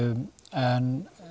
en